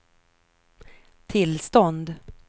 tillstånd